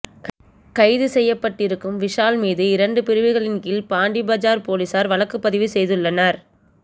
கைது செய்யப்பட்டிருக்கும் விஷால் மீது இரண்டு பிரிவுகளின் கீழ் பாண்டி பஜார் போலீசார் வழக்குப்பதிவு செய்துள்ளனர்